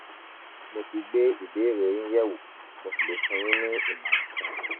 mo ti gbé ìbéèrè yín yẹ̀wò mo sì le fún yín ní ìmọ̀ràn kan